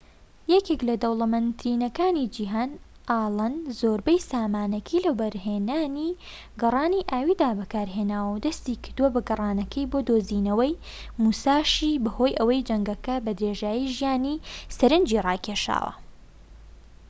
یەکێك لە دەولەمەندترینەکانی جیهان ئەڵەن زۆربەی سامانەکەی لە وەبەرهێنانی گەڕانی ئاویدا بەکارهێناوە و دەستی کردووە بە گەڕانەکەی بۆ دۆزینەوەی موساشی بەهۆی ئەوەی جەنگەکە بە درێژایی ژیانی سەرەنجی ڕاکێشاوە